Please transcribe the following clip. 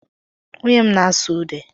Nwunye m na-asụ ude